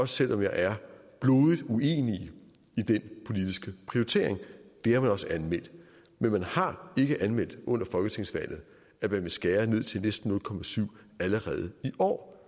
selv om jeg er blodig uenig i den politiske prioritering det har man også anmeldt men man har ikke anmeldt under folketingsvalget at man ville skære ned til næsten nul procent allerede i år